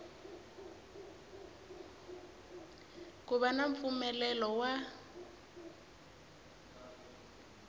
ku va na mpfumelelo wa